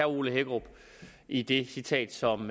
ole hækkerup i det citat som